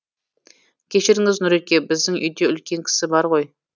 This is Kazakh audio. кешіріңіз нұреке біздің үйде үлкен кісі бар ғой